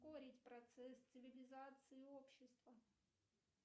ускорить процесс цивилизации общества